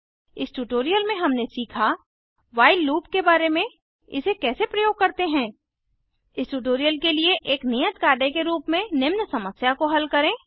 इस ट्यूटोरियल में हमने सीखा व्हाइल लूप के बारे में इसे कैसे प्रयोग करते हैं इस ट्यूटोरियल के लिए एक नियत कार्य के रूप में निम्न समस्या को हल करें